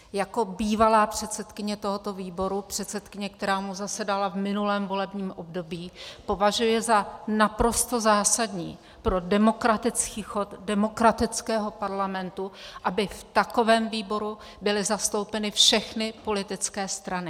Jako bývalá předsedkyně tohoto výboru, předsedkyně, která mu předsedala v minulém volebním období, považuji za naprosto zásadní pro demokratický chod demokratického parlamentu, aby v takovém výboru byly zastoupeny všechny politické strany.